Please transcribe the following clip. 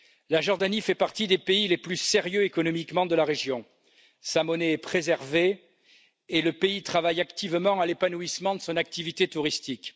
La Jordanie fait partie des pays les plus sérieux de la région, économiquement parlant. Sa monnaie est préservée et le pays travaille activement à l'épanouissement de son activité touristique.